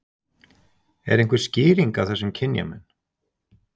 Er einhver skýring á þessum kynjamun?